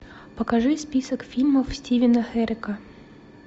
покажи список фильмов стивена херека